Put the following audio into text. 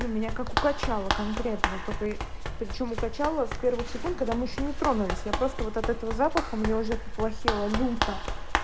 ну меня как укачало конкретно только причём укачало в первых секунд когда мы ещё не тронулись я просто вот этого запаха мне уже поплохело люто